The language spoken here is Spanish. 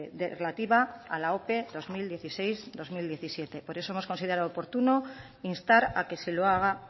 relativa a la ope bi mila hamasei bi mila hamazazpi por eso hemos considerado oportuno instar a que se lo haga